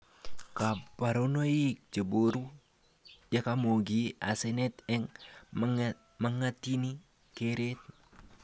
Kabarunoik cheboru yakamogi asenet ak magatini keret